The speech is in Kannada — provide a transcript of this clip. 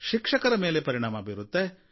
ಶಿಕ್ಷಕರ ಮೇಲೆ ಪರಿಣಾಮ ಬೀರುತ್ತೆ